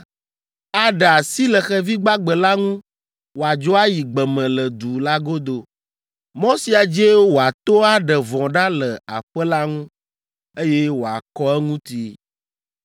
Aɖe asi le xevi gbagbe la ŋu wòadzo ayi gbe me le du la godo. Mɔ sia dzie wòato aɖe vɔ̃ ɖa le aƒe la ŋu, eye wòakɔ eŋuti.”